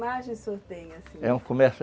Que imagem o senhor tem, assim?